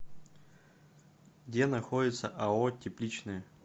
где находится ао тепличное